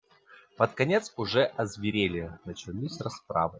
под конец уже озверели начались расправы